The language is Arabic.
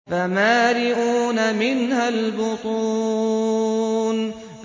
فَمَالِئُونَ مِنْهَا الْبُطُونَ